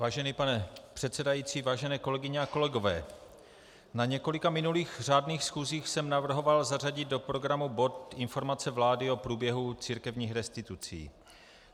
Vážený pane předsedající, vážené kolegyně a kolegové, na několika minulých řádných schůzích jsem navrhoval zařadit do programu bod Informace vlády o průběhu církevních restitucí.